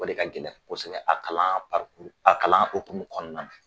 O de ka gɛlɛn kosɛbɛ , a kalan a kalan hokumu kɔnɔna la.